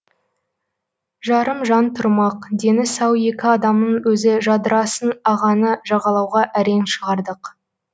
жарым жан тұрмақ дені сау екі адамның өзі жадырасын ағаны жағалауға әрең шығардық